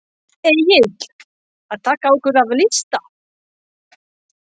Egill: Að taka okkur af lista?